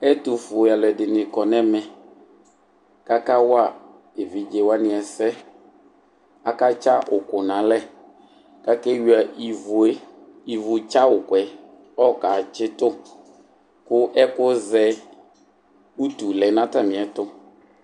Ɛtʋfue alʋɛdini kɔnʋ ɛmɛ kʋ akawa evidze wani ɛsɛ akatsa uku nʋ ɛlɛ kʋ akewuia ivue ivʋ tsa ukuɛ kʋ ɔkatsitu kʋ ɛkʋzɛ utu lɛnʋ atami ɛtʋ